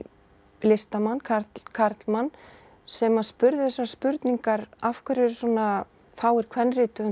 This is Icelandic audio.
listamann karlmann karlmann sem að spurði þessarar spurningar af hverju eru svona fáir